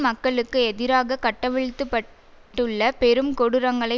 மக்களுக்கு எதிராக கட்டவிழ்த்துப்பட்டுள்ள பெரும் கொடூரங்களை